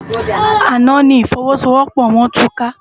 Àná ni ifòwòsówòpò wòn túká